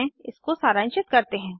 इसको सरांशित करते हैं